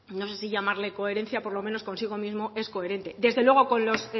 no sé si llamarle coherencia por lo menos consigo mismo es coherente desde luego con los